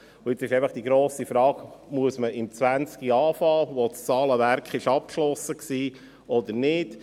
Jetzt lautet die grosse Frage, ob man im Jahr 2020 beginnen muss, wo das Zahlenwerk schon abgeschlossen ist, oder nicht.